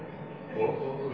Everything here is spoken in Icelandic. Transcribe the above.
og